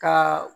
Ka